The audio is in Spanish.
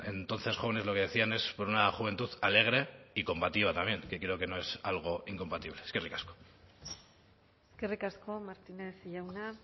entonces jóvenes lo que decían es por una juventud alegre y combativa también que creo que no es algo incompatible eskerrik asko eskerrik asko martínez jauna